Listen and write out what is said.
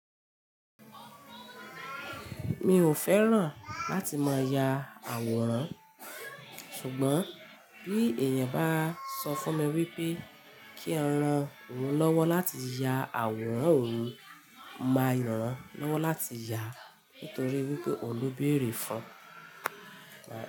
Mi ò fẹ́ràn láti máa ya àwòrán ṣùgbọ́n bí èèyàn bá sọ fún mi wípé kí n rán òun lọ́wọ́ láti ya àwòrán òun máa ràn-án lọ́wọ́ láti yà nítorí wípé òun lóbèèrè fún.